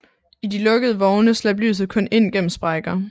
I de lukkede vogne slap lyset kun ind gennem sprækker